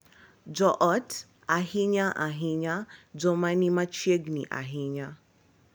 Jo ot, ahinya-ahinya joma ni machiegni ahinya,